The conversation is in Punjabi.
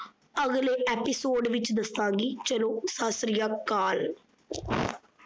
ਅਗਲ episode ਵਿੱਚ ਦੱਸਾਂਗੀ ਚਲੋ ਸਤ ਸ਼੍ਰੀ ਅਕਾਲ।